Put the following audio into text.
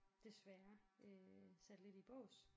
Desværre øh sat lidt i bås